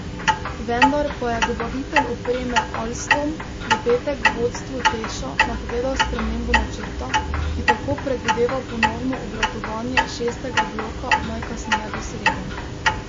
Vendar pa je dobavitelj opreme Alstom v petek vodstvu Teša napovedal spremembo načrta, ki tako predvideva ponovno obratovanje šestega bloka najkasneje do srede.